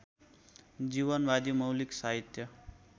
जीवनवादी मौलिक साहित्य